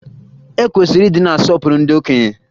E kwesịrị ịdị na-asọpụrụ ndị okenye